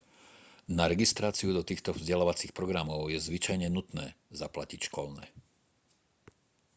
na registráciu do týchto vzdelávacích programov je zvyčajne nutné zaplatiť školné